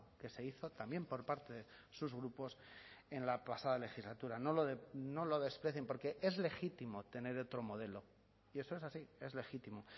que se hizo también por parte sus grupos en la pasada legislatura no lo desprecien porque es legítimo tener otro modelo y eso es así es legítimo